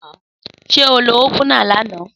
Sé o ló ópùná làná?